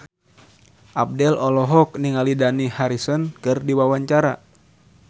Abdel olohok ningali Dani Harrison keur diwawancara